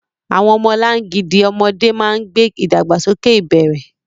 Àwọn ọmọlangidi ọmọdé máa ń gbé ìdàgbàsókè ìbẹ̀rẹ̀.